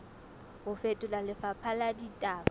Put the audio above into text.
ho fetola lefapha la ditaba